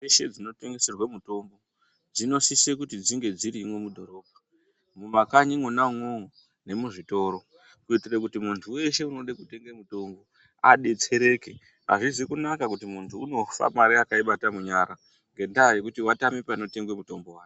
...dzeshe dzinotengeserwe mutombo dzinosise kuti dzinge dzirimwo mudhorobha, mumakanyi imwona umwomwo nemuzvitoro kuitire kuti muntu wese unode kutenge mutombo adetsereke. Hazvisi kunaka kuti muntu unofa mare akaibata munyara, ngendaa tyekuti watame panotengwe mutombo.